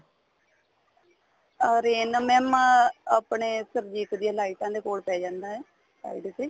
orange ਨਾ mam ਆਪਣੇ ਸਰਜੀਤ ਦੀਆਂ ਲਾਇਟਾ ਦੇ ਕੋਲ ਪੈ ਜਾਂਦਾ ਏ IDP